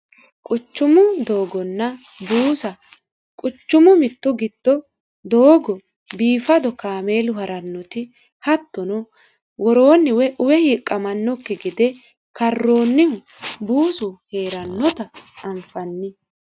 quchumu doogonna buusa quchumu mittu gitto doogo biifado kaameelu ha'rannoti hattono woroonniwe uwe hiiqqamannokki gede karroonnihu buusu hee'rannota anfanni